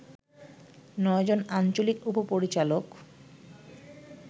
৯ জন আঞ্চলিক উপ-পরিচালক